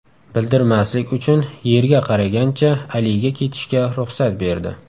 Bildirmaslik uchun yerga qaragancha Aliga ketishga ruxsat berdi.